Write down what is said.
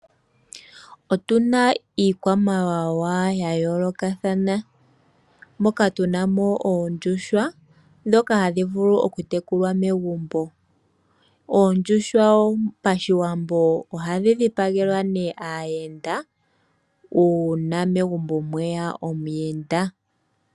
Otuna iikwamawawa ya yoolakathana. Moka tuna oondjuhwa hadhi vulu oku tekulwa megumbo . Oondjuhwa pashiwambo ohadhi dhipagelwa nee aayenda uuna megumbo mweya omuyenda.